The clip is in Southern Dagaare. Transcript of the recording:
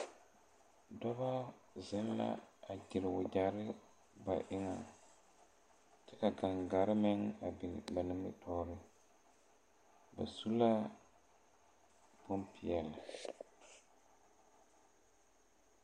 Dɔbɔ zeŋ la a gyire wogyere ba eŋɛŋ kyɛ ka gaŋgarre meŋ a biŋ ba nimitooreŋ ba su la bonpeɛle.